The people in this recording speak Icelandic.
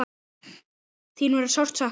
þín verður sárt saknað.